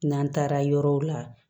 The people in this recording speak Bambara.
N'an taara yɔrɔw la